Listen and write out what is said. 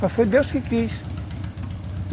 Mas foi Deus que quis.